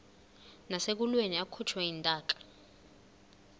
nasekulweni akhutshwe intaka